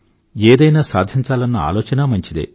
ఏదన్నా సాధించాలన్న ఆలోచన మంచిదే